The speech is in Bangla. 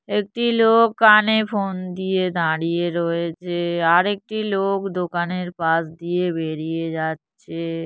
একটি লোক কানে ফোন দিয়ে দাঁড়িয়ে রয়েছে আর একটি লোক দোকানের পাশ দিয়ে বেরিয়ে যাচ্ছে।